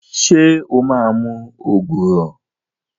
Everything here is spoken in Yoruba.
Ṣé o máa mu ògùrọ̀?